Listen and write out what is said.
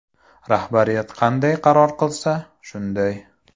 Rahbariyat qanday qaror qilsa, shunday.